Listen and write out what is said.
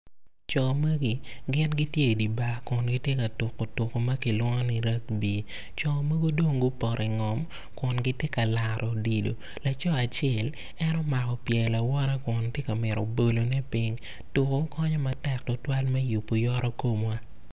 Co magi gitye i dye bar ka tuko tuko mo ma kilwongo ni rugbi co mogo dong gupoto i ngom kun gitye ka laro odilo laco acel en omako pye lawote kun tye ka mito bolone piny.